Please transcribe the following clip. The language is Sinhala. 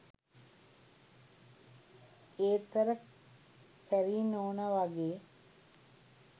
ඒත් අර කැරි නෝන වගේ